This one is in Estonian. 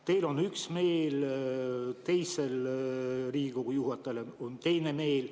Teil on üks meel, teisel Riigikogu juhatajal on teine meel.